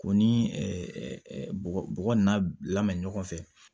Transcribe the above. K'o ni bɔgɔ bɔgɔ n'a lamɛn ɲɔgɔn fɛ